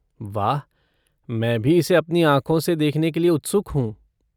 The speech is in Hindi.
वाह, मैं भी इसे अपनी आँखों से देखने के लिए उत्सुक हूँ।